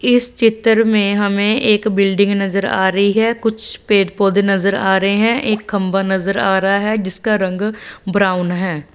इस चित्र मे हमे एक बिल्डिंग नज़र आ रही है कुछ पेड़ पौधे नज़र आ रहे है। एक खंभा नज़र आ रहा है जिसका रंग ब्राउन है।